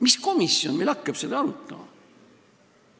Mis komisjon meil seda arutama hakkab?